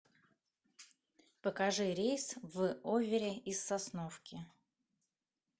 покажи рейс в оверри из сосновки